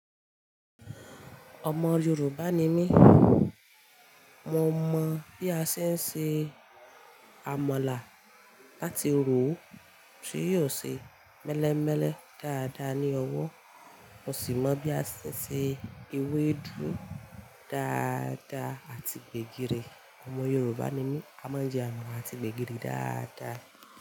Ọmọ Yorùbá ni mí, mo mọ bí a ṣe ń se àmàlà láti ro ó kí yóò ṣe mélémélé dáadáa ní ọwọ́, mo sì mọ bí a ṣe ń se ewédú dáadáa àti gbẹ̀gìrì. Ọmọ Yorùbá ni mí, a mọ ijẹun àti gbẹ̀gìrì dáadáa.